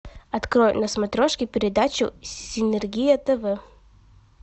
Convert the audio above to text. открой на смотрешке передачу синергия тв